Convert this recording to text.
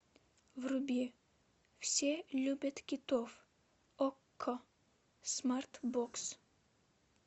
вруби все любят китов окко смарт бокс